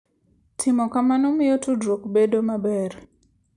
Timo kamano miyo tudruok bedo maber.